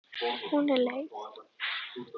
Hún er leið.